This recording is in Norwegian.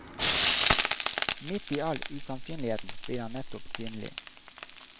Midt i all usannsynligheten blir han nettopp synlig.